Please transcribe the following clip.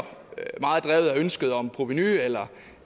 ønsket om provenu eller